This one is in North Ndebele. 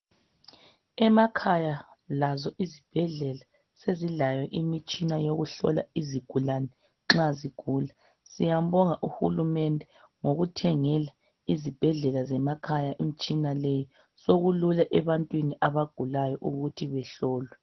Lasemakhaya izibhedlela sezilayo imitshina yokuhlola izigulani nxa zigula siyabonga uhulumende ngokuthengela izibhedlela imitshina leyi sokula ebantwini abagulayo ukuthi behlolwe